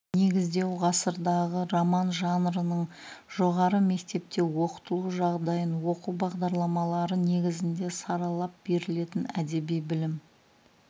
негіздеу ғасырдағы роман жанрының жоғары мектепте оқытылу жағдайын оқу бағдарламалары негізінде саралап берілетін әдеби білім